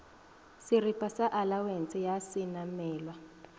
šeripa sa alawense ya šenamelwa